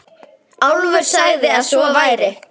Álfur sagði að svo væri.